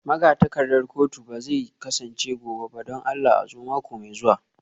Magatakardar kotu ba zai kasance gobe ba don Allah a zo mako mai zuwa